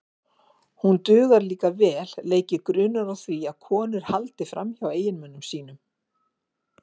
Hún dugar líka vel leiki grunur á því að konur haldi fram hjá eiginmönnum sínum.